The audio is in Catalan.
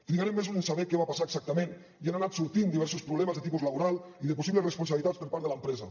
trigarem mesos en saber què va passar exactament ja han anat sortint diversos problemes de tipus laboral i de possibles responsabilitats per part de l’empresa